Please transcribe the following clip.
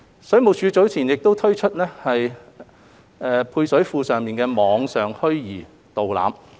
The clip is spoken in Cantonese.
水務署早前已推出了配水庫的網上虛擬導覽。